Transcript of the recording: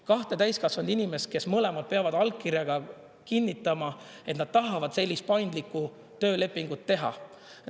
Kaks täiskasvanud inimest mõlemad peavad allkirjaga kinnitama, et nad tahavad sellist paindlikku töölepingut teha.